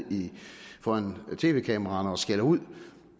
foran tv kameraerne og skælder ud